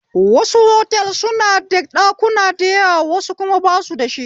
Wasu otals suna da ɗakuna da yawa wasu kuma basu dashi